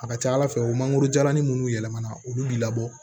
A ka ca ala fɛ o mangoro jalanin munnu yɛlɛmana olu bi labɔ